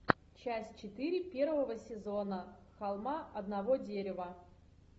часть четыре первого сезона холма одного дерева